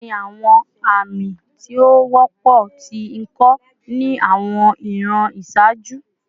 Kini awọn ami ti o wọpọ ti iko ni awọn iran iṣaaju?